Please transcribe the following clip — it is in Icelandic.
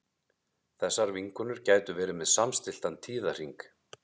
þessar vinkonur gætu verið með samstilltan tíðahring